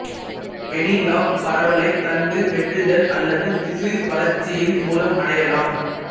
வெனிலாப் பரவலை தண்டு வெட்டுதல் அல்லது திசு வளர்சசியின் மூலம் அடையலாம்